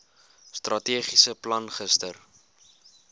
strategiese plan gister